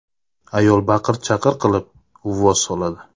Ayol baqir-chaqir qilib, uvvos soladi.